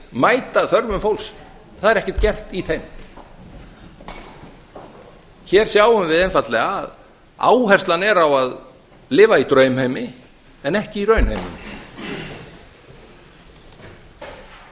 mæta stöðu fólks það er ekkert gert í þeim hér sjáum við einfaldlega að áherslan er á að lifa í draumheimi en ekki í raunheimi það